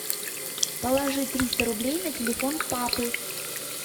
положи триста рублей на телефон папы